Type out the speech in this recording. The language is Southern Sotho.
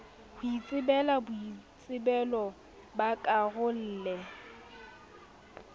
ho ikahela boitsebelo ba rarolle